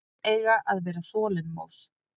Börn eiga að vera þolinmóð.